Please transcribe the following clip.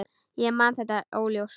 Ég man þetta óljóst.